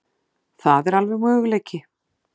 Það er alveg möguleiki.